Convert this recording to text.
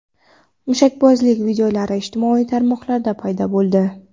Mushakbozlik videolari ijtimoiy tarmoqlarda paydo bo‘ldi.